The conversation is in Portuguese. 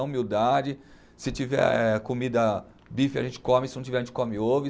Na humildade, se tiver comida, bife a gente come, se não tiver a gente come ovo.